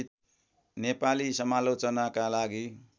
नेपाली समालोचनाका लागि